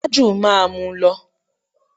Tájù máa mú lọ.